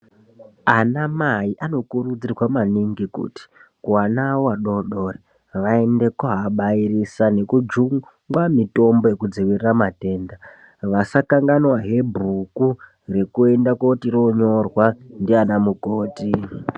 Ana mai anokurudzirwe maningi kuti kuana awo adodori vaende kooabairisa nekujungwa mutombo yekudzivirira matenda ,vaskanganwahe bhuku rekuti riende konyorwa ndiana mukoti.